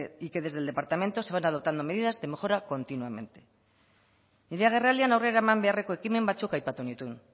y que desde el departamento se van adoptando medidas de mejora continuamente nire agerraldian aurrera eman beharreko ekimen batzuk aipatu nituen